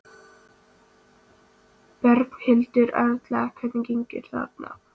Gunnar Reynir Valþórsson: Berghildur Erla, hvernig gengur þarna?